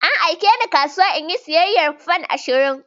An aike ni kasuwa in yi siyayyar fan ashirin